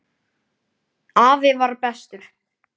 Afi var bestur.